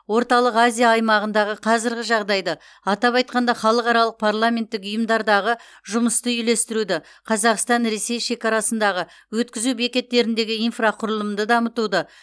орталық азия аймағындағы қазіргі жағдайды атап айтқанда халықаралық парламенттік ұйымдардағы жұмысты үйлестіруді қазақстан ресей шекарасындағы өткізу бекеттеріндегі инфрақұрылымды дамытуды